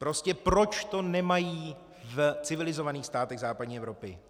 Prostě proč to nemají v civilizovaných státech západní Evropy?